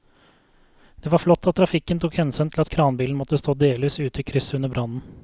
Det var flott at trafikken tok hensyn til at kranbilen måtte stå delvis ute i krysset under brannen.